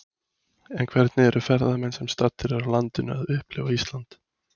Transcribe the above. En hvernig eru ferðamenn sem staddir eru á landinu að upplifa Ísland?